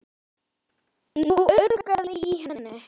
Nú urgaði í henni.